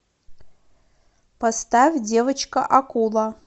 поставь девочка акула